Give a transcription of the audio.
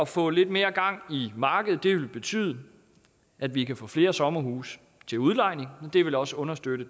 få lidt mere gang i markedet vil betyde at vi kan få flere sommerhuse til udlejning og det vil også understøtte